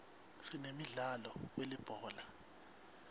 sinemdlalo welibhola